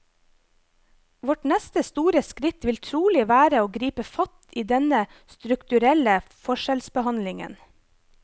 Vårt neste store skritt vil trolig være å gripe fatt i denne strukturelle forskjellsbehandlingen.